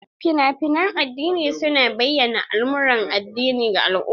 Fina-finan addini su na bayyana al'amuran addini ga al'umma.